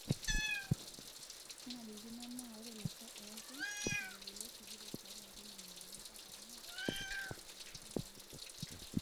Kenarikino naa ore lashoo ooti neishori kule sikitok tiatua nkoling'I uni mpaka miet aiteru enkolong' naiini.